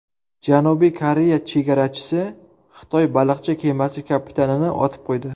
Janubiy Koreya chegarachisi Xitoy baliqchi kemasi kapitanini otib qo‘ydi.